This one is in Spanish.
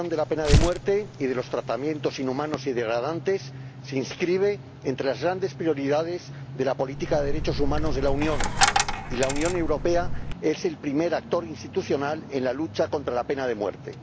La abolición de la pena de muerte y de los tratos inhumanos y degradantes se inscribe entre las grandes prioridades de la política de derechos humanos de la Unión, y la Unión Europea es el primer actor institucional en la lucha contra la pena de muerte.